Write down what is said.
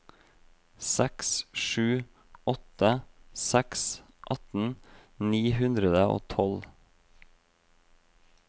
seks sju åtte seks atten ni hundre og tolv